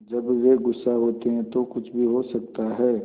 जब वे गुस्सा होते हैं तो कुछ भी हो सकता है